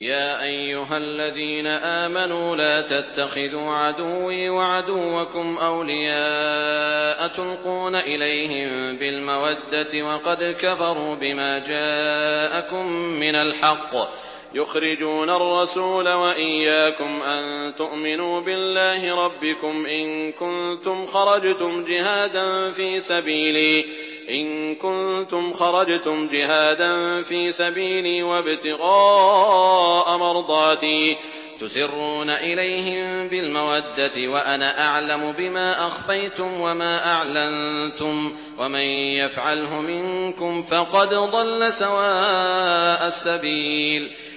يَا أَيُّهَا الَّذِينَ آمَنُوا لَا تَتَّخِذُوا عَدُوِّي وَعَدُوَّكُمْ أَوْلِيَاءَ تُلْقُونَ إِلَيْهِم بِالْمَوَدَّةِ وَقَدْ كَفَرُوا بِمَا جَاءَكُم مِّنَ الْحَقِّ يُخْرِجُونَ الرَّسُولَ وَإِيَّاكُمْ ۙ أَن تُؤْمِنُوا بِاللَّهِ رَبِّكُمْ إِن كُنتُمْ خَرَجْتُمْ جِهَادًا فِي سَبِيلِي وَابْتِغَاءَ مَرْضَاتِي ۚ تُسِرُّونَ إِلَيْهِم بِالْمَوَدَّةِ وَأَنَا أَعْلَمُ بِمَا أَخْفَيْتُمْ وَمَا أَعْلَنتُمْ ۚ وَمَن يَفْعَلْهُ مِنكُمْ فَقَدْ ضَلَّ سَوَاءَ السَّبِيلِ